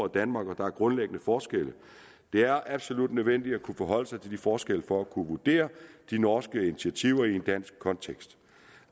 danmark og der er grundlæggende forskelle det er absolut nødvendigt at kunne forholde sig til de forskelle for at kunne vurdere de norske initiativer i en dansk kontekst